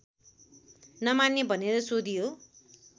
नमान्ने भनेर सोधियो